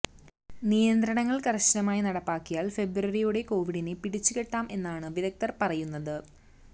നിയന്ത്രണങ്ങൾ കർശനമായി നടപ്പാക്കിയാൽ ഫെബ്രുവരിയോടെ കോവിഡിനെ പിടിച്ചുകെട്ടാം എന്നാണ് വിദഗ്ധർ പറയുന്നത്